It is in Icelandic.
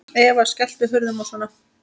Eva: Skelltu hurðum og svona?